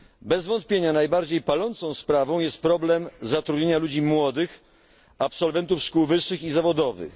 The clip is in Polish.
Bez wątpienia najbardziej palącą sprawą jest problem zatrudnienia ludzi młodych, absolwentów szkół wyższych i zawodowych.